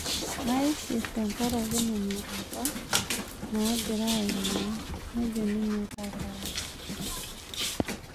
Naishir tenkaraki nena apa nang'ira aimaa,'' nejo ninye Kapai.